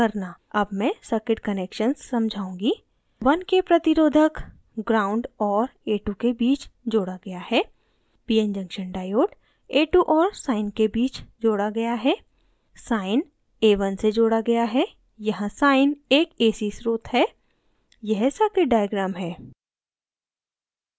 अब मैं circuit connections समझाऊँगी